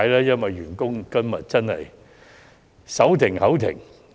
員工真的手停口停。